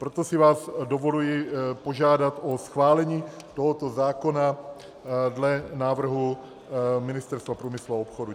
Proto si vás dovoluji požádat o schválení tohoto zákona dle návrhu Ministerstva průmyslu a obchodu.